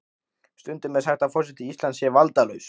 Stundum er sagt að forseti Íslands sé valdalaus.